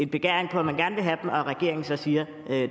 begæring om at man gerne vil have dem og at regeringen så siger